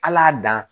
Al'a dan